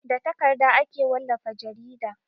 Da takarda ake wallafa jarida.